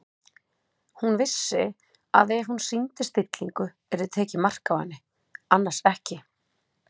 Hún vissi að ef hún sýndi stillingu yrði tekið mark á henni- annars ekki.